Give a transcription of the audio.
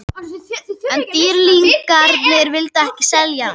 En Dýrlingarnir vildu ekki selja hann.